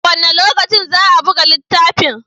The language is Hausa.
A wane lokaci za a buga littafin?